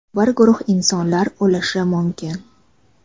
bir guruh insonlar o‘lishi mumkin.